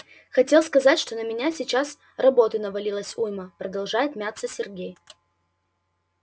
хотел сказать что на меня сейчас работы навалилось уйма продолжает мяться сергей